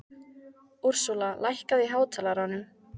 Úrsúla, lækkaðu í hátalaranum.